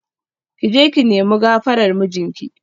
Ki je ki nemi gafarar mijinki